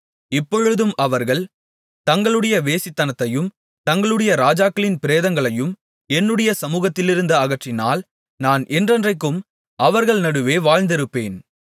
இப்பொழுதும் அவர்கள் தங்களுடைய வேசித்தனத்தையும் தங்களுடைய ராஜாக்களின் பிரேதங்களையும் என்னுடைய சமுகத்திலிருந்து அகற்றினால் நான் என்றென்றைக்கும் அவர்கள் நடுவே வாழ்ந்திருப்பேன்